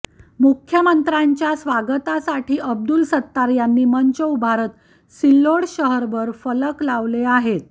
मुख्यमंत्र्यांच्या स्वागतासाठी अब्दुल सत्तार यांनी मंच उभारत सिल्लोड शहरभर फलक लावले आहेत